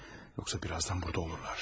Yoxsa birazdan burada olurlar.